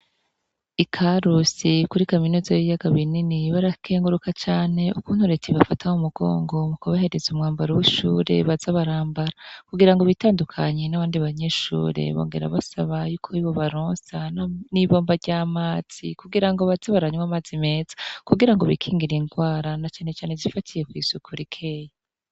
I karusi kuri kaminuza y'iyaga binini barakenguruka cane ukunturetib bafataho umugongo mu kubahereza umwambaro w'ishure bazabarambara kugira ngo bitandukanyi n'awandi banyeshure bongera basaba yuko bibo baronsa no n'ibomba ry'amatsi kugira ngo baza baranywa amaze meza kugira ngo bikingira indwara necane zifatiye kw'isuku rikeya.